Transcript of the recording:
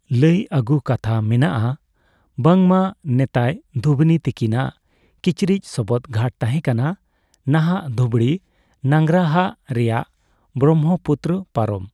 ᱞᱟ.ᱭ ᱟ.ᱜᱩ ᱠᱟᱛᱷᱟ ᱢᱮᱱᱟᱜ ᱟ ᱵᱟᱝᱢᱟ ᱱᱮᱛᱟᱭ ᱫᱷᱩᱵᱩᱱᱤ ᱛᱟᱠᱤᱱᱟᱜ ᱠᱤᱪᱨᱤᱪ ᱥᱚᱵᱚᱫ ᱜᱷᱟᱴ ᱛᱟᱦᱮ ᱠᱟᱱᱟ ᱱᱟᱦᱟᱜ ᱫᱷᱩᱵᱽᱲᱤ ᱱᱟᱝᱜᱽᱨᱟᱦᱟ ᱨᱮᱭᱟᱜ ᱵᱨᱚᱦᱢᱚᱯᱩᱛᱨᱚ ᱯᱟᱨᱚᱢ।